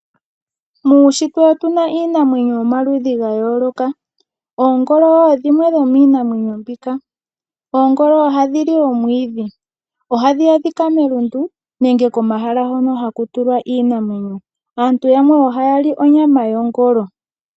Muushitwe otu na iinamwenyo yomaludhi ga yooloka. Oongolo dhimwe dhomiinamwenyo mbika. Oongolo ohadhi li omwiidhi. Ohadhi adhika melundu nenge komahala hono haku tulwa iinamwenyo. Aantu yamwe ohaya li onyama yongolo.